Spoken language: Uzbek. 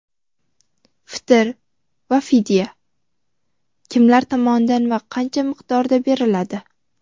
fitr va fidya: kimlar tomonidan va qancha miqdorda beriladi?.